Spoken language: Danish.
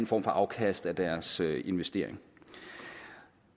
form for afkast af deres investeringer